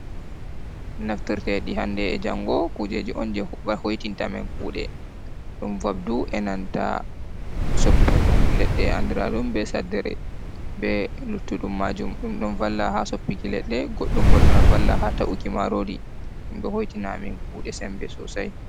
Naftire ɗi hannde e jango, kujeji on je hoitintamin kuɗe, ɗum vabdu, e nanta soppirdum leɗɗe andraɗum be saddere be luttuɗum maajum, ɗum ɗo valla haa soppuki leɗɗe, goɗɗum bo ɗon vala haa ta’uki marori, ɗum ɗo hoitina amin kuɗe sembe sosai.